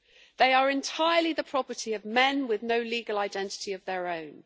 They are entirely the property of men, with no legal identity of their own.